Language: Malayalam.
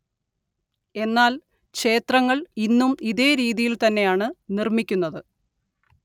എന്നാല്‍ ക്ഷേത്രങ്ങള്‍ ഇന്നും ഇതേ രീതിയില്‍ തന്നെയാണ്‌ നിര്‍മ്മിക്കുന്നത്